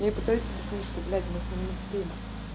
я пытаюсь объяснить что блять мы с ним не спим